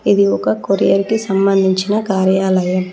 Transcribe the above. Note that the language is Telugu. ఇది ఒక కొరియర్ కి సంబంధించిన కార్యాలయం.